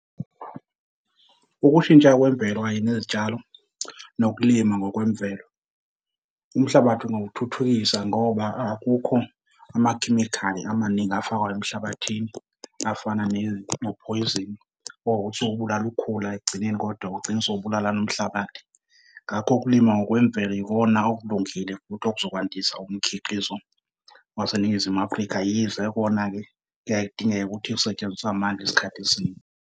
Ukushintsha kwemvelo kanye nezitshalo, nokulima ngokwemvelo umhlabathi ungawuthuthukisa ngoba akukho amakhemikhali amaningi afakwayo emhlabathini afana nophoyizeni wokubulala ukhula ekugcineni kodwa ugcina sowubulala nomhlabathi. Ngakho ukulima ngokwemvelo ikona okulungile futhi okuzokwandisa umkhiqizo waseNingizimu Afrika, yize kona-ke kuyaye kudingeke ukuthi usetshenziswa .